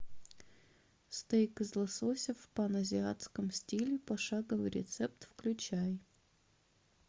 стейк из лосося в паназиатском стиле пошаговый рецепт включай